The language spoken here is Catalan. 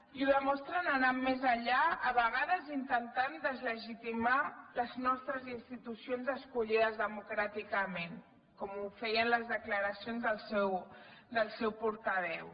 i ho demostren anant més enllà a vegades intentant deslegitimar les nostres institucions escollides democràticament com ho feien les declaracions del seu portaveu